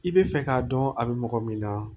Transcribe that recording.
I bɛ fɛ k'a dɔn a bɛ mɔgɔ min na